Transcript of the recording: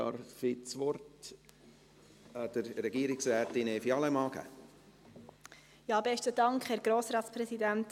Darf ich das Wort der Frau Regierungsrätin Evi Allemann geben?